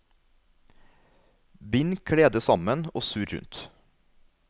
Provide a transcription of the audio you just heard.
Bind kledet sammen og surr rundt.